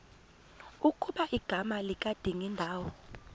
ukuba igama likadingindawo